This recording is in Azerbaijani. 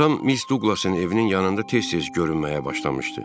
Atam Miss Duqlasın evinin yanında tez-tez görünməyə başlamışdı.